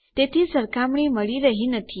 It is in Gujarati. તેથી સરખામણી મળી નથી રહ્યી